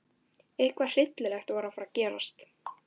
Eitthvað hryllilegt var að fara að gerast.